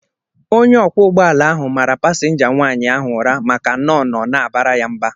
Onye ọkwọ ụgbọala ahụ mara pasinja nwaanyị ahụ ụra maka na ọ nọ na-abara ya mba